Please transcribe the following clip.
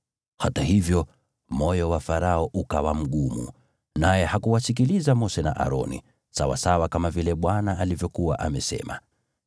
Hata hivyo moyo wa Farao ukawa mgumu, naye hakuwasikiliza Mose na Aroni, sawasawa kama vile Bwana alivyokuwa amesema.